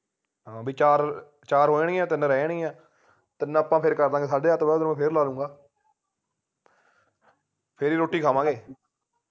ਹਾਂ ਬੀ ਚਾਰ ਚਾਰ ਹੋ ਜਾਣਗੀਆਂ ਤਿੰਨ ਰਹਿ ਜਾਣਗੀਆਂ ਤਿੰਨ ਆਪਾ ਫੇਰ ਕਰ ਦਾਂਗੇ ਸਾਡੇ ਅੱਠ ਤੋਂ ਬਾਅਦ ਮੈਂ ਫੇਰ ਲਾ ਲੂੰਗਾ ਫੇਰ ਹੀ ਰੋਟੀ ਖਾਵਾਂਗੇ